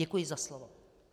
Děkuji za slovo.